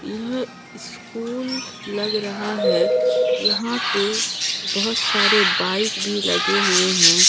यह स्कूल लग रहा है यहां पे बहोत सारे बाइक भी लगे हुए हैं।